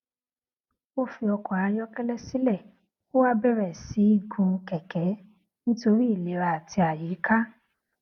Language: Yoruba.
ó fi ọkò ayókélé sílè ó wá bèrè sí í gun kèké nítorí ìlera àti àyíká